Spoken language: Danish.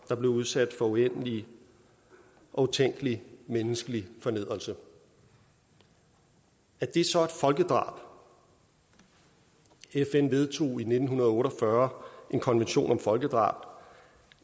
er blevet udsat for uendelig og utænkelig menneskelig fornedrelse er det så et folkedrab fn vedtog i nitten otte og fyrre en konvention om folkedrab